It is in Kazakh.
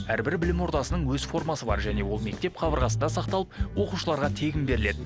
әрбірі білім ордасының өз формасы бар және ол мектеп қабырғасында сақталып оқушыларға тегін беріледі